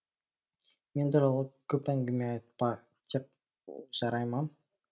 мен туралы көп әңгіме айтпа тек жарай ма